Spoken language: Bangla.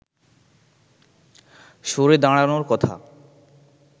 সরে দাঁড়ানোর কথা